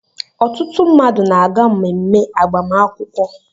Ọtụtụ mmadụ na-aga emume agbamakwụkwọ